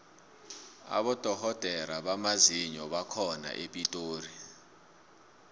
abodorhodere bamazinyo bakhona epitori